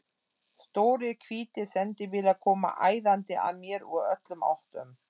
Stórir hvítir sendibílar koma æðandi að mér úr öllum áttum.